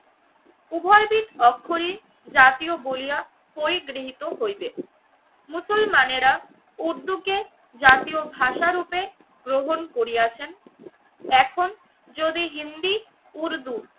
উভয় বিদ অক্ষরে জাতীয় বলিয়া পরিগৃহীত হইবে। মুসলমানেরা উর্দুকে জাতীয় ভাষা রূপে গ্রহণ করিয়াছেন এখন যদি হিন্দি, উর্দু,